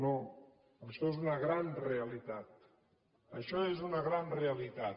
no això és una gran realitat això és una gran reali·tat